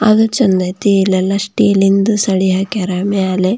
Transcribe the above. ಆದ್ರೂ ಚಂದ್ ಐತೆ ಇಲ್ಲೆಲ್ಲಾ ಸ್ಟೀಲಿಂದು ಸಣ್ಣಿ ಹಾಕಾರ ಮೇಲೆ --